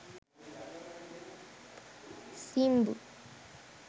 simbu